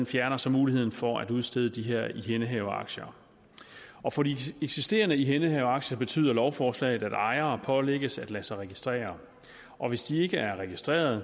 fjerner så muligheden for at udstede de her ihændehaveraktier og for de eksisterende ihændehaveraktier betyder lovforslaget at ejere pålægges at lade sig registrere og hvis de ikke er registreret